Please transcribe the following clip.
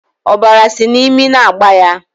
Ọbara sị n'imi na-agba ya